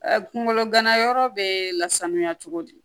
Kunkolo ganayɔrɔ bɛ lasanuya cogo di